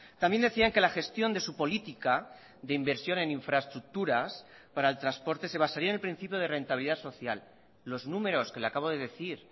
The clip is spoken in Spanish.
también decían que la gestión de su política de inversión en infraestructuras para el transporte se basaría en el principio de rentabilidad social los números que le acabo de decir